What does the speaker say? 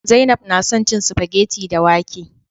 Zainab na son cin spaghetti da wake